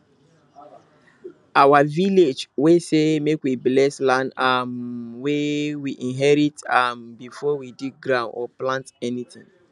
our village way say make we bless land um wey we inherit um before we dig ground or plant anything